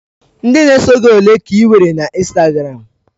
Ndị na-eso gị ole ị nwere na Instagram?